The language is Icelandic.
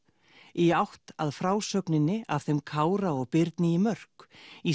í átt að frásögninni af þeim Kára og Birni í Mörk í